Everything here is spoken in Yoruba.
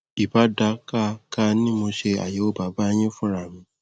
ì bá dáa ká ká ní mo ṣe àyẹwò bàbá yín fúnra mi